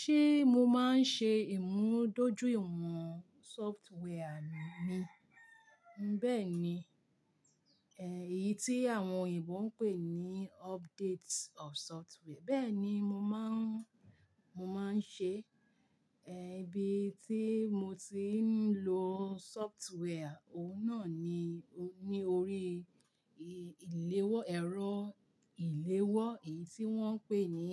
Ṣé mo máa ń ṣe ìmúdójúìwọ̀n software mi? Bẹ́ẹ̀ni. Ẹ̀ yìí tí àwọn òyìnbó ń pè ní update of software. Bẹ́ẹ̀ni, mo máa ń, mo máa ń ṣe. Ẹ̀ bí i tí mo ti ń lo software, òun náà ni, ní orí ìléwọ́, ẹ̀rọ ìléwọ́, èyí tí wọ́n ń pè ní,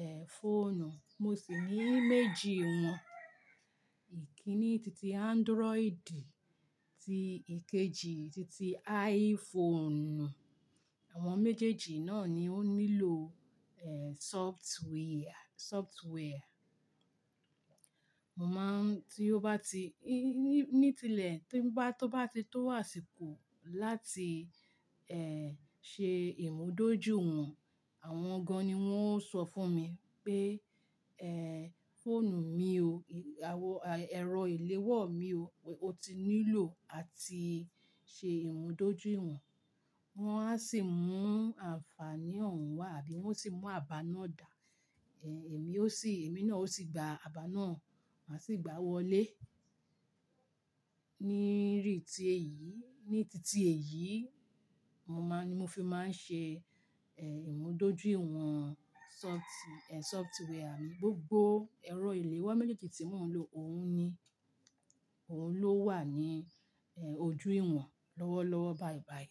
ẹ́, fóònù. Mo sì ní méjì wọn. Ìkíni titi Android ti ìkejì titi iPhone. Àwọn méjèèjì náà ni ó nílò, ẹ́, sọftíwẹ́ẹ̀rì, sọftíwẹ́ẹ̀rì. Mo má ń tí ó bá ti, ní, ní, ní tilẹ̀ tí bá, tó bá ti tó àsìkò láti, ẹ́, ṣe ìmúdójúìwọ̀n, àwọn gan-an ni wọ́n ó sọ fún mi pé, ẹ́, fóònù mi o, ẹ̀rọ ìléwọ́ mi o, ó ti nílò a ti ṣe ìmúdójúìwọ̀n. Wọn a sì mú àǹfààní oun wá àbí wọ́n sì mú aba náà dà. Ẹ̀, èmi ó sì, èmi náà ó sì gba aba náà, màá sì gbá a wọlé. Ní rí ti èyí, ní titi èyí, mo máa ń ni mo fi máa ń ṣe, ẹ́, ìmúdójúìwọ̀n sọti, ẹ́, software mi. Gbogbo ẹ̀rọ ìléwọ́ méjeeji tí mò ń lò, òun ni, òun ló wà ní, ẹ́, ojú ìwọ̀n lọ́wọ́lọ́wọ́ báibái.